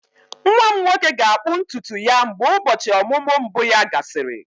Nwa m nwoke ga-akpụ ntutu ya mgbe ụbọchị ọmụmụ mbụ ya gasịrị.